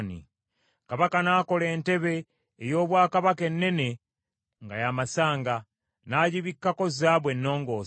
Kabaka n’akola entebe ey’obwakabaka ennene nga ya masanga, n’agibikkako zaabu ennongoose.